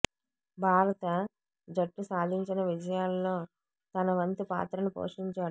భారత జట్టు సాధిం చిన విజయా ల్లో తన వంతు పాత్రను పోషించాడు